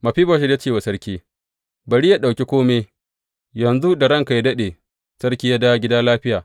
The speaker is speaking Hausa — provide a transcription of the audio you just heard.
Mefiboshet ya ce wa sarki, Bari yă ɗauki kome, yanzu da ranka yă daɗe, sarki ya dawo gida lafiya.